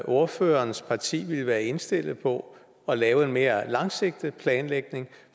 ordførerens parti vil være indstillet på at lave en mere langsigtet planlægning